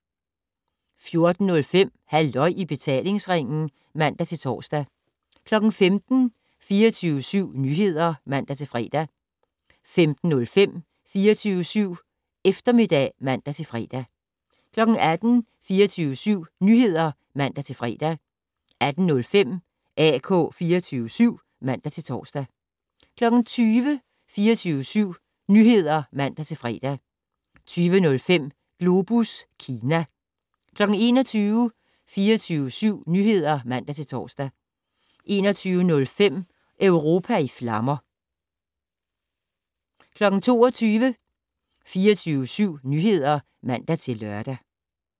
14:05: Halløj i betalingsringen (man-tor) 15:00: 24syv Nyheder (man-fre) 15:05: 24syv Eftermiddag (man-fre) 18:00: 24syv Nyheder (man-fre) 18:05: AK 24syv (man-tor) 20:00: 24syv Nyheder (man-fre) 20:05: Globus Kina 21:00: 24syv Nyheder (man-tor) 21:05: Europa i flammer 22:00: 24syv Nyheder (man-lør)